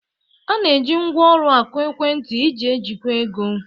A na-eji ngwa ụlọ akụ ekwentị iji ejikwa ego.